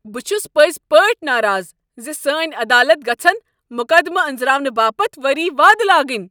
بہٕ چھُس پٔزۍ پٲٹھۍ ناراض ز سٲنۍ عدالت گژھن مقدمہٕ انزراونہٕ باپتھ ؤری وادٕ لاگٕنۍ۔